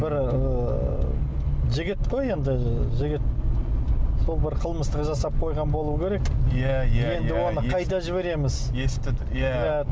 бір ыыы жігіт қой енді жігіт сол бір қылмыстық жасап қойған болу керек иә иә иә енді оны қайда жібереміз иә иә